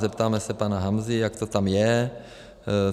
Zeptáme se pana Hamzy, jak to tam je.